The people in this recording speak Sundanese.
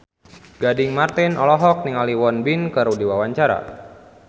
Gading Marten olohok ningali Won Bin keur diwawancara